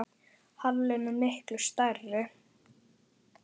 Halinn er miklu stærri.